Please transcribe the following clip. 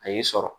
A y'i sɔrɔ